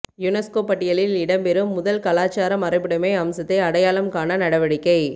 UNESCO பட்டியலில் இடம்பெறும் முதல் கலாசார மரபுடைமை அம்சத்தை அடையாளம் காண நடவடிக்கை